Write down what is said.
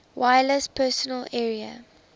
wireless personal area